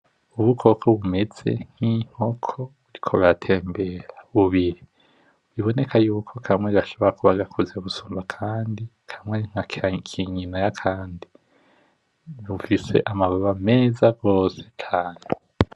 Ubukoko bumeze nki nkoko buriko buratembera bubiri, biboneka yuko kamwe gashobora kuba gakuze gusumba akandi, kamwe nkakanyina yakandi. Bufise amababa meza gose cane.